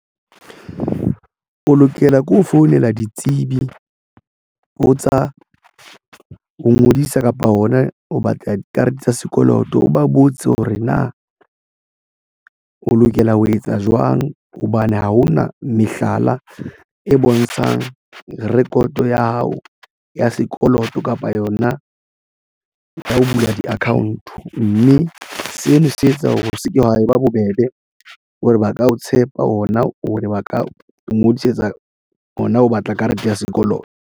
O lokela ke ho founela ditsebi ho tsa ho ngodisa kapa hona ho batla karete tsa sekoloto o ba botse hore na o lokela ho etsa jwang hobane ha ho na mehlala e bontshang record ya hao ya sekoloto kapa yona ho bula di-account mme sena se etsa hore ho se ke hwa ba bobebe hore ba ka o tshepa ona o re ba ka ngodisetsa hona ho batla karete ya sekoloto.